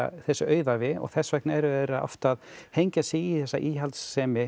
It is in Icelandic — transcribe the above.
þessi auðævi og þess vegna eru þeir oft að hengja sig í þessa íhaldssemi